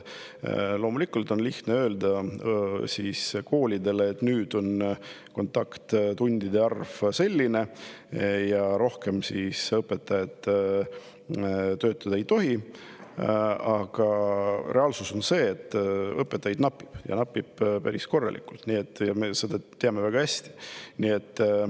Loomulikult on lihtne öelda koolidele, et nüüd on kontakttundide arv selline ja sellest rohkem õpetajad töötada ei tohi, aga reaalsus on see, et õpetajaid napib, ja napib päris korralikult, me teame seda väga hästi.